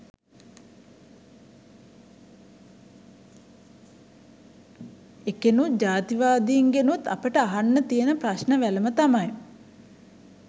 එකෙනුත් ජාතිවාදීන්ගෙනුත් අපට අහන්න තියෙන ප්‍රශ්ණ වැලම තමයි